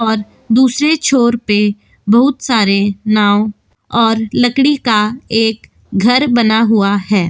और दूसरे छोर पे बहुत सारे नाव और लकड़ी का एक घर बना हुआ है।